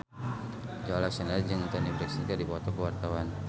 Joey Alexander jeung Toni Brexton keur dipoto ku wartawan